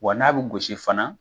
Wa n'a bɛ gosi fana.